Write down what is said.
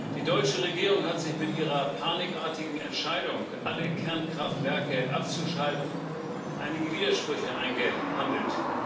Die deutsche Regierung hat sich mit ihrer panikartigen Entscheidung, alle Kernkraftwerke abzuschalten, einige Widersprüche eingehandelt.